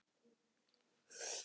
Hans tæki eru miklu síðri.